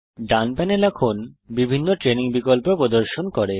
ডান panel এখন training options প্রদর্শন করে